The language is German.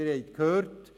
Sie haben es gehört: